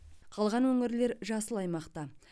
қалған өңірлер жасыл аймақта